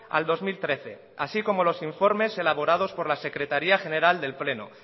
al dos mil trece así como los informes elaborados por la secretaría general del pleno